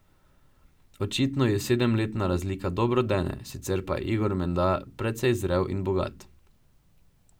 Očitno ji sedemletna razlika dobro dene, sicer pa je Igor menda precej zrel in bogat.